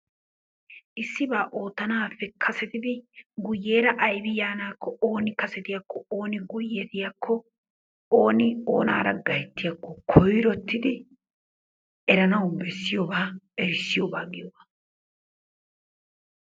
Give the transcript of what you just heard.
Issibaa ootanaappe kasettidi guyeera aybbi yaanaakko ooni kasetiyakko ooni guyettiyakko ooni oonaara gayttiyakko koyrotidi eranawu bessiyoogaa errisiyoogaa giyoogaaa.